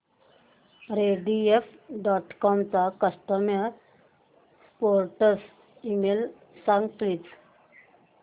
Rediff dot com चा customer support email सांग please